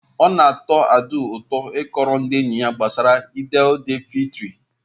Ọ na-atọ Abdul ụtọ ịkọrọ ndị enyi ya gbasara Eid el fitri.